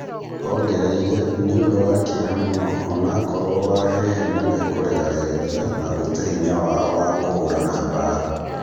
Ongereire "nĩũndũ wa kĩeha mũno onakorwo Wahehe nĩmekũrega regeria na gũte hinya wao wa kũhũrana mbara"